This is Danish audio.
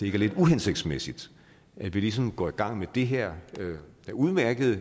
er lidt uhensigtsmæssigt at vi ligesom går i gang med det her udmærkede